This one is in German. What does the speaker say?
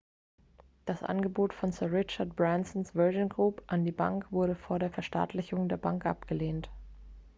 das angebot von sir richard bransons virgin group an die bank wurde vor der verstaatlichung der bank abgelehnt